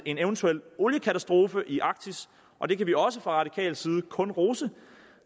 en eventuel oliekatastrofe i arktis og det kan vi også fra radikal side kun rose